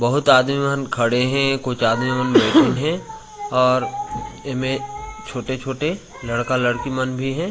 बहोत आदमी मन खड़े है कुछ आदमी मन बैठन है और एमे छोटे-छोटे लड़का लड़की मन भी है।